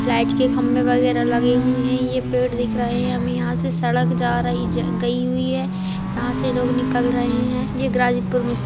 light के खम्भे वगेेरा लगे हुए हैं ये पेड़ दिख रहे हैं सड़क जा रही गई हुई है यहां से लोग निकल रहे हैं ये --